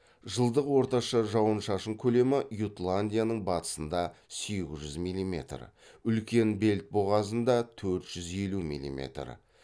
жылдық орташа шауын шашын көлемі ютландияның батысында сегіз жүз милиметр үлкен бельт бұғазында төрт жүз елу милиметр